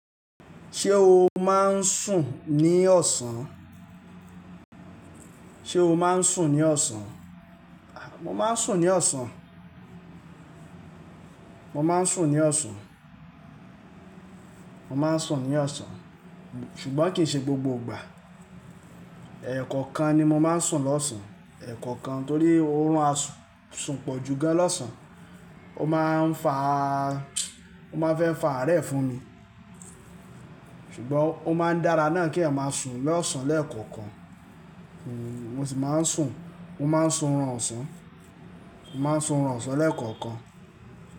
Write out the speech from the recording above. Ṣé o máa ń sùn ní ọ̀sán? Sé o máa ń sùn ní ọ̀sán? Mo máa ń sùn ní ọ̀sán. Mo máa ń sùn ní ọ̀sán. Mo máa ń sùn ní ọ̀sán. Ṣùgbọ́n kì í ṣe gbogbo ìgbà. Ẹ̀ẹ̀kọ̀kan ni mo máa ń sùn lọ́sàn. Ẹ̀ẹ̀kọ̀kan torí orun á sùn pọ̀ ju gan lọ́sàn. Ó máa ń fa, ó máa fẹ́ fa àárẹ̀ fún mi. Ṣùgbọ́n ó máa ń dára náà kí ẹ̀ máa sùn lọ́sàn lẹ́ẹ̀kọ̀kan. Mo sì máa ń sùn. Mo máa ń sùn orun ọ̀sán. Mo máa ń sùn ọ̀ràn ọ̀sán lẹ́ẹ̀kọ̀kan.